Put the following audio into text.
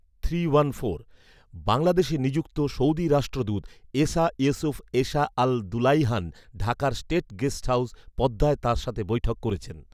বাংলাদেশে নিযুক্ত সৌদি রাষ্ট্রদূত Essa Yousef Essa Al Dulaihan ঢাকার স্টেট গেস্ট হাউস পদ্মায় তাঁর সাথে বৈঠক করেছেন